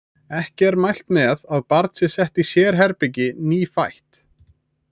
Ekki er mælt með að barn sé sett í sérherbergi nýfætt.